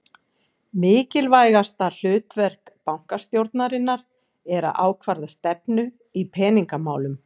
Mikilvægasta hlutverk bankastjórnarinnar er að ákvarða stefnu í peningamálum.